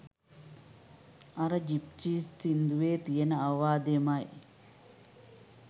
අර ජිප්සීස් සින්දුවේ තියෙන අවවාදයමයි.